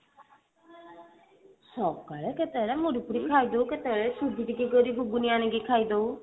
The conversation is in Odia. ସକାଳେ କେତେବେଳେ ମୁଢି ଫୁଡି ଖାଇଦେଉ କେତେବେଳେ ସୁଜିଟିକେ କୋଉଠି ଘୁଗୁନି ଆଣିକି ଖାଇଦେଉ